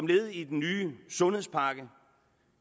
led i den nye sundhedspakke